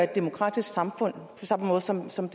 demokratisk på samme måde som som